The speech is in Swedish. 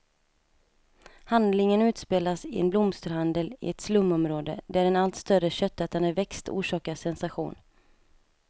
Handlingen utspelas i en blomsterhandel i ett slumområde, där en allt större köttätande växt orsakar sensation.